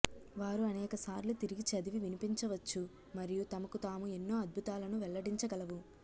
వారు అనేక సార్లు తిరిగి చదివి వినిపించవచ్చు మరియు తమకు తాము ఎన్నో అద్భుతాలను వెల్లడించగలవు